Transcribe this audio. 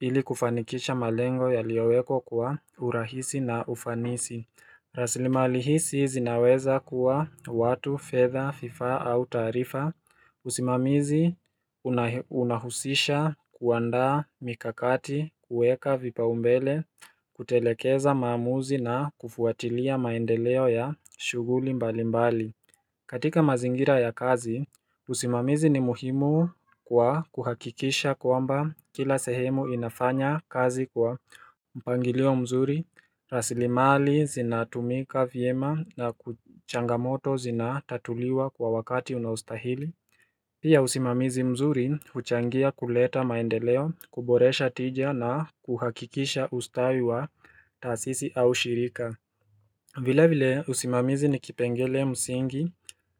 ili kufanikisha malengo yaliowekwa kwa urahisi na ufanisi rasilimali hisi zinaweza kuwa watu, fedha, fifaa au taarifa usimamizi una unahusisha kuandaa mikakati, kueka vipa umbele, kutelekeza maamuzi na kufuatilia maendeleo ya shughuli mbali mbali katika mazingira ya kazi, usimamizi ni muhimu kwa kuhakikisha kwamba kila sehemu inafanya kazi kwa mpangilio mzuri rasilimali zinatumika vyema na kuchangamoto zinatatuliwa kwa wakati unaostahili Pia usimamizi mzuri huchangia kuleta maendeleo, kuboresha tija na kuhakikisha ustawi wa taasisi au shirika vile vile usimamizi nikipengele msingi